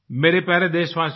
मेरे प्यारे देशवासियो